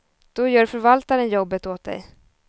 Då gör förvaltaren jobbet åt dig.